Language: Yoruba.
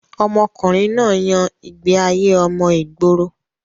ọmọkùnrin náà yan ìgbé ayé ọmọ ìgboro